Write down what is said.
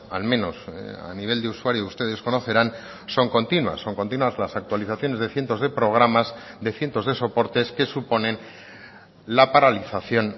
al menos a nivel de usuario ustedes conocerán son continuas son continuas las actualizaciones de cientos de programas de cientos de soportes que suponen la paralización